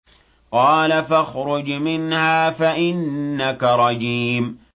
قَالَ فَاخْرُجْ مِنْهَا فَإِنَّكَ رَجِيمٌ